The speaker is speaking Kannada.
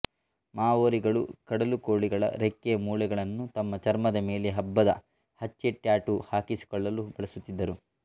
ಮಾವೋರಿಗಳು ಕಡಲುಕೋಳಿಗಳ ರೆಕ್ಕೆಯ ಮೂಳೆಗಳನ್ನು ತಮ್ಮ ಚರ್ಮದ ಮೇಲೆ ಹಬ್ಬದ ಹಚ್ಚೆಟ್ಯಾಟೂ ಹಾಕಿಸಿಕೊಳ್ಳಲು ಬಳಸುತ್ತಿದ್ದರು